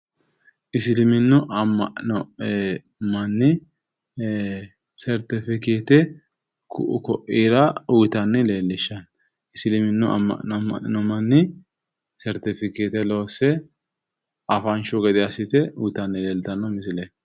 Isiliminnu amma'no manni sertifikkeette ku"u ko'ira uyitanni leellishshanno. Isiliminnu amma'no amma'nino manni sertifikkeette loosse afanshu gede assite uyitanni leeltanno misileeti.